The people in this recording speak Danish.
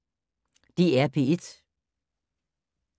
DR P1